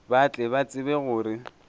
ba tle ba tsebe gore